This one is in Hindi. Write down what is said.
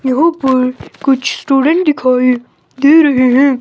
यहां पर कुछ स्टूडेंट दिखाई दे रहे हैं।